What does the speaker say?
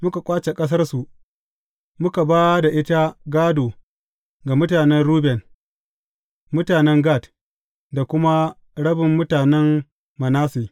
Muka ƙwace ƙasarsu, muka ba da ita gādo ga mutanen Ruben, mutanen Gad, da kuma rabin mutanen Manasse.